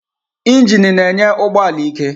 Injini na-enye ụgbọ ala ike.